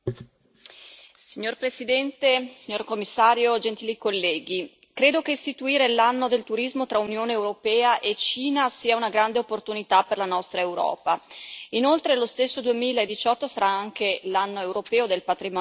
Signor Presidente, onorevoli colleghi, signor Commissario, credo che istituire l'Anno del turismo tra Unione europea e Cina sia una grande opportunità per la nostra Europa. Inoltre, lo stesso 2018 sarà anche l'Anno europeo del patrimonio culturale.